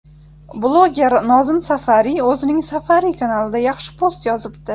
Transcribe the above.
Bloger Nozim Safariy o‘zining Safariy kanalida yaxshi post yozibdi .